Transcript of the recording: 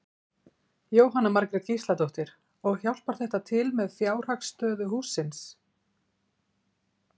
Jóhanna Margrét Gísladóttir: Og hjálpar þetta til með fjárhagsstöðu hússins?